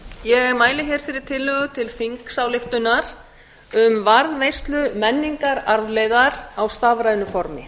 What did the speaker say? ég mæli fyrir tillögu til þingsályktunar um varðveislu menningararfleifðar á stafrænu formi